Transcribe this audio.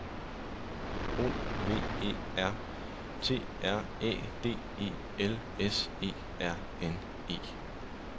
O V E R T R Æ D E L S E R N E